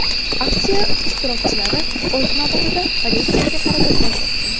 Aksiya ishtirokchilari, o‘z navbatida, politsiyaga qarata tosh otgan.